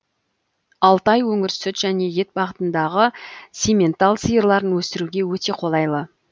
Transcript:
алтай өңірі сүт және ет бағытындағы симментал сиырларын өсіруге өте қолайлы